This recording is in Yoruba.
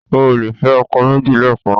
O ò lè fẹ́ ọkọ méjì lẹ́ẹ̀kàn náà.